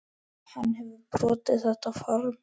Hann hefur brotið þetta form.